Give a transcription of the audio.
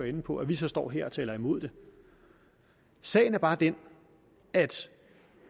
inde på at vi så står her og taler imod det sagen er bare den at